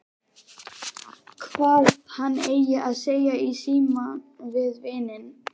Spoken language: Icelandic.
Hvað hann eigi að segja í símann við vininn.